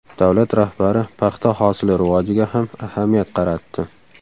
Davlat rahbari paxta hosili rivojiga ham ahamiyat qaratdi.